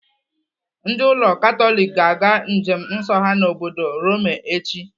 Ndị ụlọ Katọlik ga-aga njem nsọ ha n'obodo Rome echi.